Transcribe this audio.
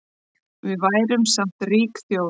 Við værum samt rík þjóð